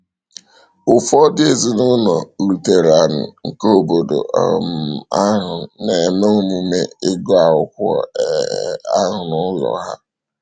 Ụfọdụ ezinụlọ Lutheran nke obodo um ahụ na-eme omume ịgụ akwụkwọ um ahụ n’ụlọ ha.